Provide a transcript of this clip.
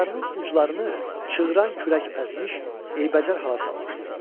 Qanadlarının uclarını çığıran külək əzmiş, eybəcər hala salmışdı.